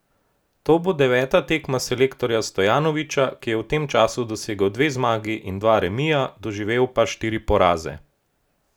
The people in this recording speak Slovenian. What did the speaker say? To bo deveta tekma selektorja Stojanovića, ki je v tem času dosegel dve zmagi in dva remija, doživel pa štiri poraze.